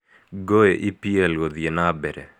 Ngũĩ EPL gũthiĩ na mbere.